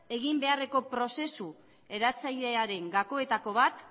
egin beharreko prozesu eratzailearen gakoetako bat